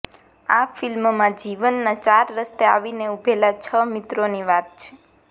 આ ફિલ્મમાં જીવનના ચાર રસ્તે આવીને ઉભેલા છ મિત્રોની વાત છે